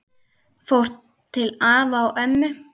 Fór til afa og ömmu.